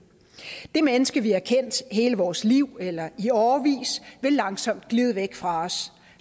det menneske vi har kendt hele vores liv eller i årevis vil langsomt glide væk fra os